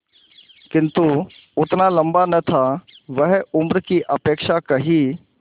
किंतु उतना लंबा न था वह उम्र की अपेक्षा कहीं